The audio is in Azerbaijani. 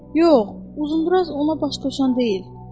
Yox, uzunduraz ona baş qoşan deyil.